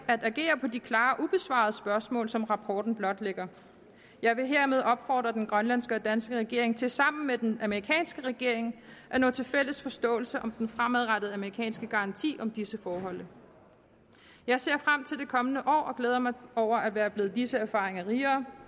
at agere på de klare ubesvarede spørgsmål som rapporten blotlægger jeg vil hermed opfordre den grønlandske og den danske regering til sammen med den amerikanske regering at nå til fælles forståelse om den fremadrettede amerikanske garanti om disse forhold jeg ser frem til det kommende år og glæder mig over at være blevet disse erfaringer rigere